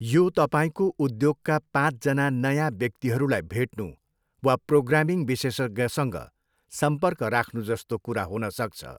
यो तपाईँको उद्योगका पाँचजना नयाँ व्यक्तिहरूलाई भेट्नु वा प्रोग्रामिङ विशेषज्ञसँग सम्पर्क राख्नु जस्तो कुरा हुन सक्छ।